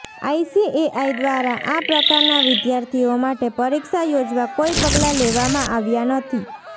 ICAI દ્વારા આ પ્રકારના વિદ્યાર્થીઓ માટે પરીક્ષા યોજવા કોઇ પગલાં લેવામાં આવ્યાં નથી